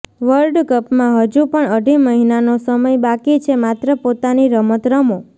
વર્લ્ડકપમાં હજુ પણ અઢી મહિનાનો સમય બાકી છે માત્ર પોતાની રમત રમો